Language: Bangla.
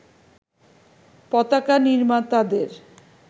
পতাকা নির্মাতাদের